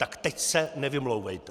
Tak teď se nevymlouvejte!